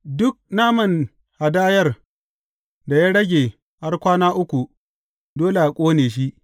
Duk naman hadayar da ya rage har kwana uku, dole a ƙone shi.